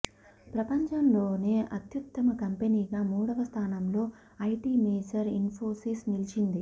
ప్రపంచలోనే అత్యుత్తమ కంపెనీగా మూడవ స్థానంలో ఐటి మేజర్ ఇన్ఫోసిస్ నిలిచింది